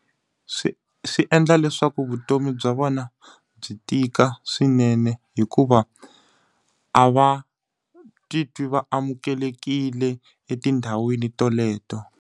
Swi swi endla leswaku vutomi bya vona byi tika swinene hikuva, a va titwi va amukelekile etindhawini teleto.